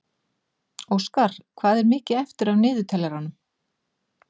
Óskar, hvað er mikið eftir af niðurteljaranum?